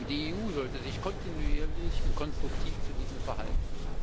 Die EU sollte sich kontinuierlich und konstruktiv zu diesem verhalten.